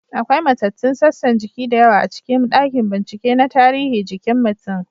Akwai matattun sassan jiki da yawa a cikin dakin bincike na tarihi jikin mutum.